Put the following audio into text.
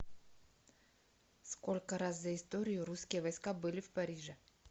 сколько раз за историю русские войска были в париже